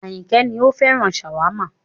Ayinke ní òun féràn shawarma